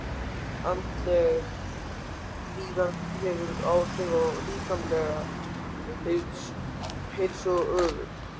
Andleg líðan hefur áhrif á líkamlega heilsu og öfugt.